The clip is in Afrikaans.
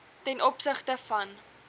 ten opsigte van